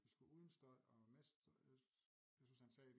Vi skulle uden støj og med jeg synes han sagde